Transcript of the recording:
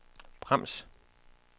brems